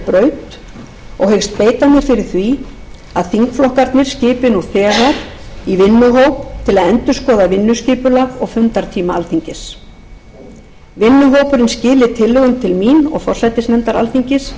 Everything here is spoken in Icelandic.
braut og hyggst beita mér fyrir því að þingflokkarnir skipi nú þegar vinnuhóp til að endurskoða vinnuskipulag og fundartíma alþingis hópurinn skili tillögum til mín og forsætisnefndar alþingis síðar í